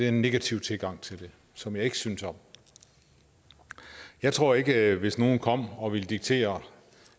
en negativ tilgang til det som jeg ikke synes om jeg tror ikke at hvis nogen kom og ville diktere